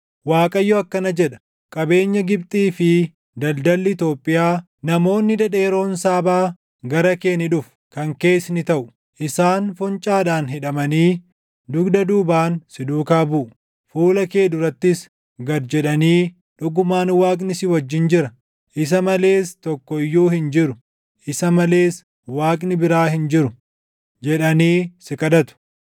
Waaqayyo akkana jedha: “Qabeenyi Gibxii fi daldalli Itoophiyaa, namoonni dhedheeroon Saabaa, gara kee ni dhufu; kan kees ni taʼu; isaan foncaadhaan hidhamanii dugda duubaan si duukaa buʼu. Fuula kee durattis gad jedhanii ‘Dhugumaan Waaqni si wajjin jira; // isa malees tokko iyyuu hin jiru; isa malees Waaqni biraa hin jiru’ jedhanii si kadhatu.”